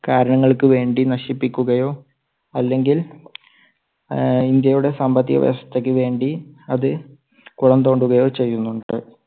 കാരണങ്ങൾക്ക് വേണ്ടി നശിപ്പിക്കുകയോ. അല്ലെങ്കിൽ ആഹ് ഇന്ത്യയുടെ സാമ്പത്തിക വ്യവസ്ഥയ്ക്ക് വേണ്ടി അത് കുളംതോണ്ടുകയോ ചെയ്യുന്നുണ്ട്.